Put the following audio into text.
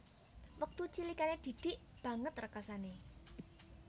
Wektu cilikane Didik banget rekasane